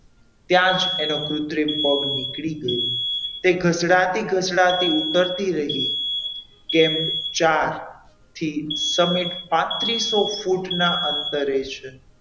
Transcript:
ત્યાં જ એનો કુત્રિમ પગ નીકળી ગયો તે એક ઘસડાતી ઘસડાતી ઉતરતી રહી કેમ ચાર થી સામે પાંત્રીસો ફૂટના અંતરે છે.